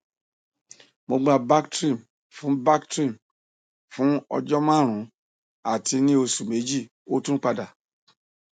mo gba bactrim fun bactrim fun ọjọ marun ati ni oṣu meji o tun pada